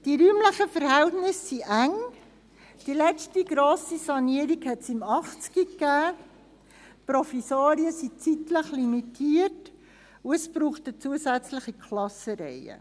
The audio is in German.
Die räumlichen Verhältnisse sind eng, die letzte grosse Sanierung gab es 1980, die Provisorien sind zeitlich limitiert, und es braucht eine zusätzliche Klassenreihe.